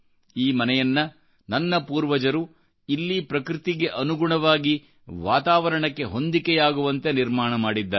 ಈ ಮನೆಯನ್ನು ನನ್ನ ಪೂರ್ವಜರು ಇಲ್ಲಿ ಪ್ರಕೃತಿಗೆ ಅನುಗುಣವಾಗಿ ವಾತಾವರಣಕ್ಕೆ ಹೊಂದಿಕೆಯಾಗುವಂತೆನಿರ್ಮಾಣ ಮಾಡಿದ್ದಾರೆ